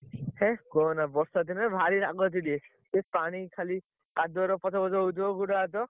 ହେ କହନା ବର୍ଷା ଦିନେ ଭାରି ରାଗ ଚିଡେ ସେ ପାଣି ଖାଲି କାଦୁଅ ରେ ପଚ ପଚ ହଉଥିବ ଗୋଡ ହାତ